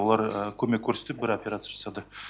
олар көмек көрсетіп бір операция жасады